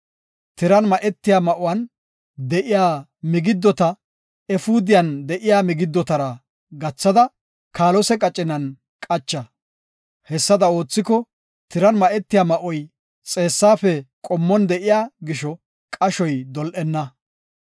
Tiran ma7etiya ma7uwan de7iya migiddota efuudiyan de7iya migiddotara gathada kaalose qacinan qacha. Hessada oothiko, tiran ma7etiya ma7oy xeessafe qommon de7iya gisho, qashoy dol7enna.